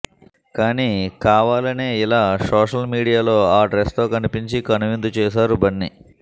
కానీ కావాలనే ఇలా సోషల్ మీడియాలో ఆ డ్రస్ తో కనిపించి కనువిందు చేసారు బన్ని